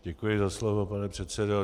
Děkuji za slovo, pane předsedo.